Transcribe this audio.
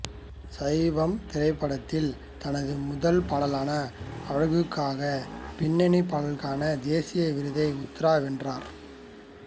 சைவம் திரைப்படத்தில் தனது முதல் பாடலான அழகுக்காக பின்னணி பாடலுக்கான தேசிய விருதை உத்தரா வென்றார்